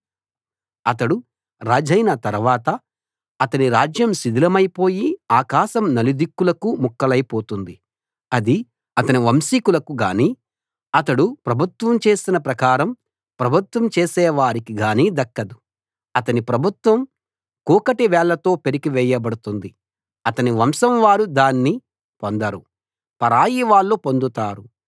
అతడు రాజైన తరవాత అతని రాజ్యం శిథిలమైపోయి ఆకాశం నలుదిక్కులకూ ముక్కలైపోతుంది అది అతని వంశికులకు గానీ అతడు ప్రభుత్వం చేసిన ప్రకారం ప్రభుత్వం చేసేవారికి గానీ దక్కదు అతని ప్రభుత్వం కూకటి వేళ్ళతో పెరికి వేయబడుతుంది అతని వంశంవారు దాన్ని పొందరు పరాయివాళ్ళు పొందుతారు